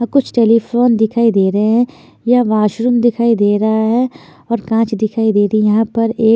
और कुछ टेलीफोन दिखाई दे रहे हैं ये वॉशरूम दिखाई दे रहा है और कांच दिखाई दे रही यहां पर एक--